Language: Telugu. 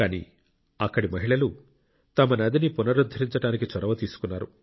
కానీ అక్కడి మహిళలు తమ నదిని పునరుద్ధరించడానికి చొరవ తీసుకున్నారు